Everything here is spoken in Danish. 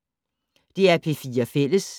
DR P4 Fælles